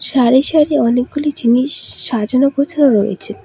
সারি সারি অনেকগুলি জিনিস সাজানো গোছানো রয়েছে।